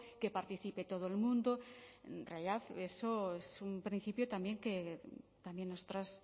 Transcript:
que participe todo el mundo en realidad eso es un principio también que también nosotras